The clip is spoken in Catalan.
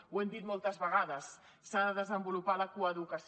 ho hem dit moltes vegades s’ha de desenvolupar la coeducació